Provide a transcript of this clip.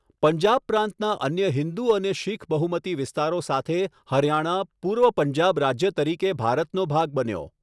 પંજાબ પ્રાંતના અન્ય હિંદુ અને શીખ બહુમતી વિસ્તારો સાથે હરિયાણા, પૂર્વ પંજાબ રાજ્ય તરીકે ભારતનો ભાગ બન્યો.